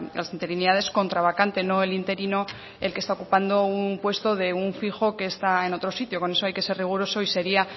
las interinidades contra vacante no el interino el que está ocupando un puesto de un fijo que está en otro sitio con eso hay que ser riguroso y sería